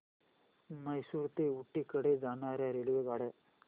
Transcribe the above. म्हैसूर ते ऊटी कडे जाणार्या रेल्वेगाड्या